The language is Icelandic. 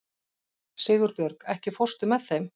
Sigurbjörg, ekki fórstu með þeim?